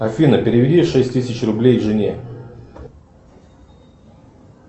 афина переведи шесть тысяч рублей жене